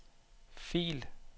fil